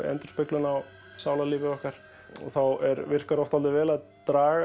endurspeglun á sálarlífi okkar og þá virkar oft vel að